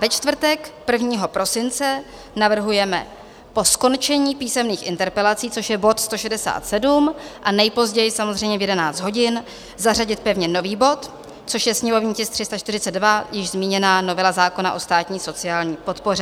Ve čtvrtek 1. prosince navrhujeme po skončení písemných interpelací, což je bod 167, a nejpozději samozřejmě v 11 hodin, zařadit pevně nový bod, což je sněmovní tisk 342, již zmíněná novela zákona o státní sociální podpoře.